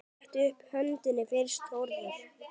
Rétta upp höndina fyrst Þórður.